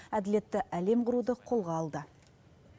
әділетті әлем құруды қолға алды